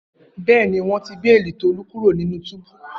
Bẹẹni, wọn ti beeli Tolu kuro ninu tubu.